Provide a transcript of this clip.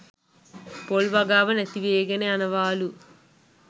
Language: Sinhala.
පොල් වගාව නැතිවේගෙන යනවාලු